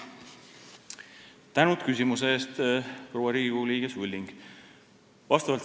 Tänan küsimuse eest, Riigikogu liige proua Sulling!